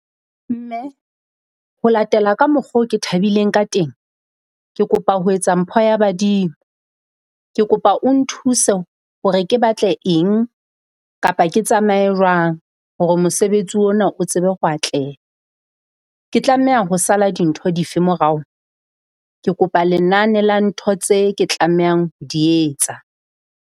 Mme ho latela ka mokgo ke thabileng ka teng, ke kopa ho etsa mpho ya badimo. Ke kopa o nthuse hore ke batle eng kapa ke tsamaye jwang hore mosebetsi ona o tsebe ho atleha? Ke tlameha ho sala dintho dife morao? Ke kopa lenane la ntho tse ke tlamehang ho di etsa.